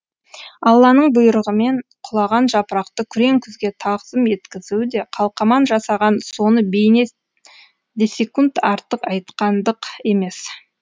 алланың бұйрығымен құлаған жапырақты күрең күзге тағзым еткізуі де қалқаман жасаған соны бейне де секунд артық айтқандық емес